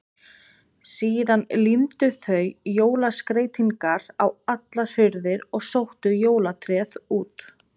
Síðan límdu þau jólaskreytingar á allar hurðir og sóttu jólatréð út.